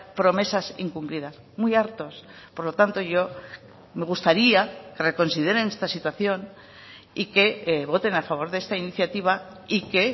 promesas incumplidas muy hartos por lo tanto yo me gustaría que reconsideren esta situación y que voten a favor de esta iniciativa y que